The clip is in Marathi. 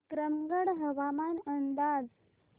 विक्रमगड हवामान अंदाज